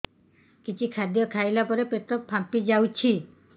କିଛି ଖାଦ୍ୟ ଖାଇଲା ପରେ ପେଟ ଫାମ୍ପି ଯାଉଛି